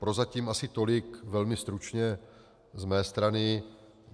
Prozatím asi tolik velmi stručně z mé strany.